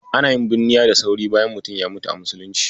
Ana yin bunniya da sauri bayan mutum ya mutu a Muslunci.